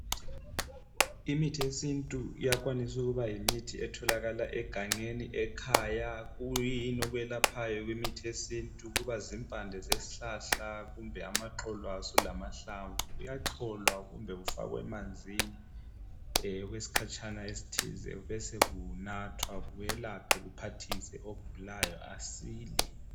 Imithi yesintu iyakwanisa ukuba yimithi etholakala egangeni, ekhaya. Kuyini okwelaphayo okwemithi yesintu kuba zimpande zesihlahla kumbe abaxolo aso lamahlamvu kuyacholwa kumbe kufakwe emanzini okwesikhatshana esithize besekunathwa kuyelaphe kuphathise ogulayo asile.